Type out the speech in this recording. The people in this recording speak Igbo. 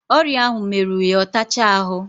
Oria ahu mmeru ya otacha ahu